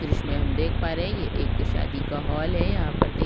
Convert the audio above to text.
द्र्श्य मे हम देख पा रहे हैं ये एक शादी का हॉल है यहाँ पर देख--